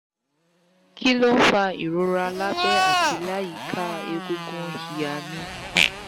kí ló ń fa ìrora lábẹ́ àti láyìíká egungun iha mi?